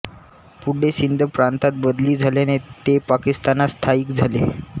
पुढे सिंध प्रांतात बदली झाल्याने ते पाकिस्तानात स्थायिक झाले